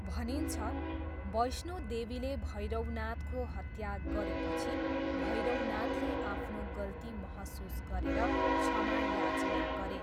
भनिन्छ, वैष्णोदेवीले भैरवनाथको हत्या गरेपछि भैरवनाथले आफ्नो गल्ती महसुस गरेर क्षमा याचना गरे।